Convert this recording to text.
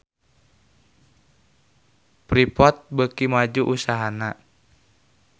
Freeport beuki maju usahana